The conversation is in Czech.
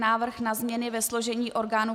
Návrh na změny ve složení orgánů